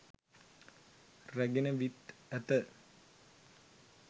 රැගෙන විත් ඇත.